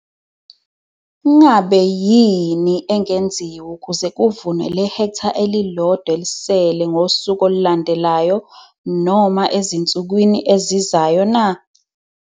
Ngabe yini engenziwa ukuze kuvunwe le hektha eli-1 elisele ngosuku olulandelayo, noma ezinsukwini ezizayo na?